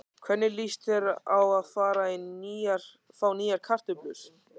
Hvernig líst þér á að fá nýjar kartöflur?